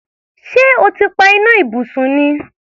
Ṣé o ti pa iná ibùsùn ni?